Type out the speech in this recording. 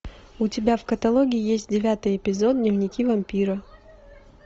у тебя в каталоге есть девятый эпизод дневники вампира